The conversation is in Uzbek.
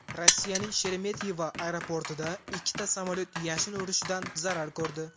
Rossiyaning Sheremetyevo aeroportida ikkita samolyot yashin urishidan zarar ko‘rdi.